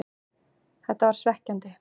Þetta var svekkjandi,